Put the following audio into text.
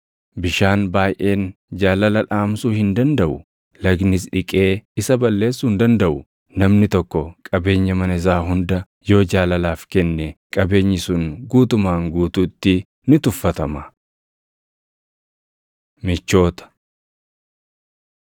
Bishaan baayʼeen jaalala dhaamsuu hin dandaʼu; lagnis dhiqee isa balleessuu hin dandaʼu. Namni tokko qabeenya mana isaa hunda yoo jaalalaaf kenne qabeenyi sun guutumaan guutuutti ni tuffatama. Michoota